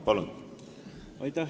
Palun!